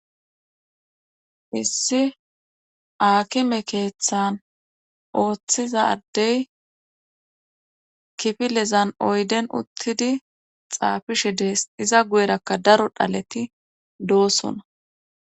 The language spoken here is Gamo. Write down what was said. issi aakime keeththan ooththizadey kifilezan oyden uttidi xaafishe dees iza guyerakka daro dhaleti doosona